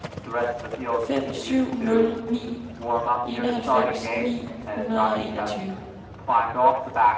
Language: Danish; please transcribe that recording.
fem syv nul ni enoghalvfems ni hundrede og enogtyve